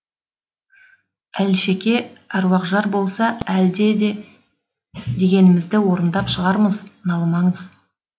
әлшеке аруақжар болса әлде де дегенімізді орындап шығармыз налымаңыз